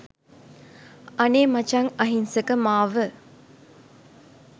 අනේ මචං අහිංසක මාව